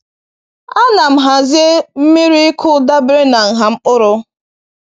A na m hazie miri ịkụ dabere na nha mkpụrụ